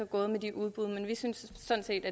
gået med de udbud men vi synes sådan set